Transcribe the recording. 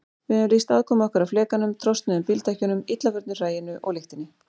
Við höfum lýst aðkomu okkar að flekanum, trosnuðum bíldekkjunum, illa förnu hræinu og lyktinni.